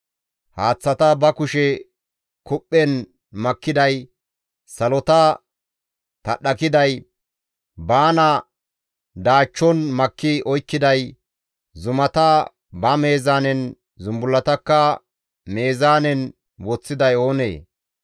Haaththata ba kushe kuphphen makkiday, salota tadhdhakiday, baana daachchon makki oykkiday, zumata ba meezaanen, zumbullatakka meezaanen woththiday oonee?